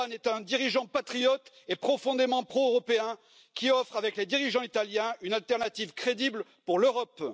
Orbán est un dirigeant patriote et profondément pro européen qui offre, avec les dirigeants italiens, une alternative crédible pour l'Europe.